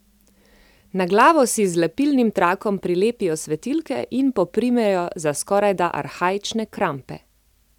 Na glavo si z lepilnim trakom prilepijo svetilke in poprimejo za skorajda arhaične krampe.